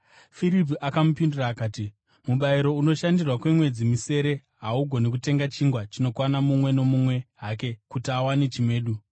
Firipi akamupindura akati, “Mubayiro unoshandirwa kwemwedzi misere haugoni kutenga chingwa chinokwana mumwe nomumwe hake, kuti awane chimedu!”